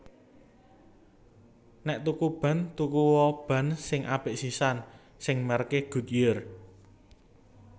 Nek tuku ban tuku o ban sing apik sisan sing merk e Goodyear